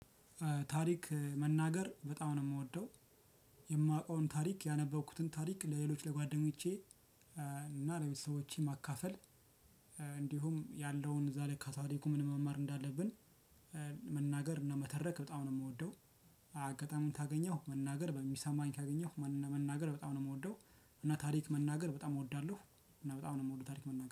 ታሪክ መናገር በጣም ነው የምወደው። የማውቀውን ታሪክ ያነበብኩትን ታሪክ ለሌሎች ለጓደኞቼ እና ለቤተሰቦቼ ማካፈል እንዲሁም ያለውን እዛ ላይ ካታሪኩ ምንም መማር እንዳለብን። መናገር እና መተረክ በጣም ነው የምወደው። አጋጣሚውን ታገኘው መናገር በሚሰማኝ ካገኘው መናገር በጣም ነው የምወደው። እና ታሪክ መናገር በጣም እወዳለሁ እና በጣም ነው የምወደው ታሪክ መናገር